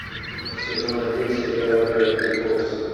сезон один сериала гравити фолз